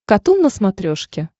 катун на смотрешке